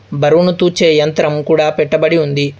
బరువును తూచే యంత్రం కూడా పెట్టబడి ఉంది.